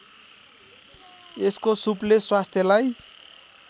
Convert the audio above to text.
यसको सुपले स्वास्थ्यलाई